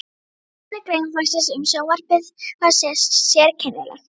Tilefni greinaflokksins um sjónvarpið var sérkennilegt.